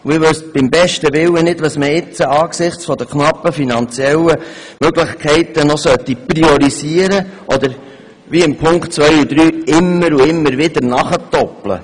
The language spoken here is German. Ich wüsste beim besten Willen nicht, was man jetzt, angesichts der knappen finanziellen Möglichkeiten, noch priorisieren oder wo man, wie in den Punkten 2 und 3, immer und immer wieder nachhaken sollte.